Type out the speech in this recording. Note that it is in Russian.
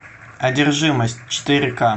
одержимость четыре к